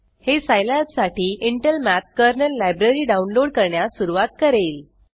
हे सिलाब साठी Intel math kernel library download करण्यास सुरवात करेल